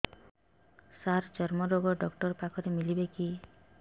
ସାର ଚର୍ମରୋଗ ଡକ୍ଟର ପାଖରେ ମିଳିବେ କି